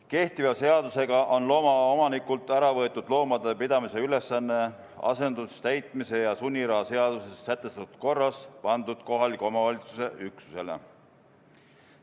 Kehtiva seadusega on loomaomanikult ära võetud loomade pidamise ülesanne asendustäitmise ja sunniraha seaduses sätestatud korras ning pandud see kohaliku omavalitsuse üksusele.